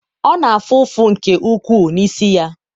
ọ na-afụ ụfụ nke ukwuu n'isi ya